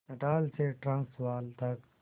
Natal से Transvaal तक